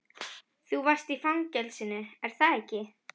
Þú varst í fangelsinu, er það ekki?